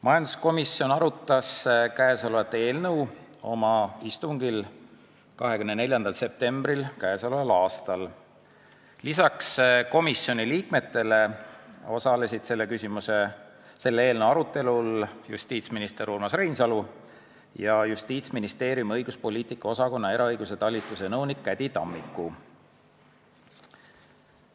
Majanduskomisjon arutas käesolevat eelnõu oma istungil 24. septembril k.a. Lisaks komisjoni liikmetele osalesid selle eelnõu arutelul justiitsminister Urmas Reinsalu ja Justiitsministeeriumi õiguspoliitika osakonna eraõiguse talituse nõunik Käddi Tammiku.